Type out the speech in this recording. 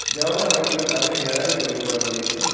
দেওয়ালে অনেকগুলো কাঠের গ্যালারি তৈরি করা রয়েছে।